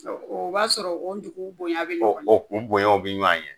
O b'a sɔrɔ o dugu bonya bi ɲɔgɔn ɲɛ, o kun bonya bi ɲɔgɔn ɲɛ.